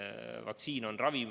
Vaktsiin on ravim.